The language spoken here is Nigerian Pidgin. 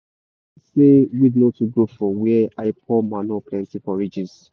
i see say weed no too grow for where i pour manure plenty for ridges.